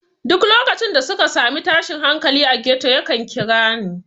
Duk lokacin da suka sami tashin hankali a ghetto yakan kira ni.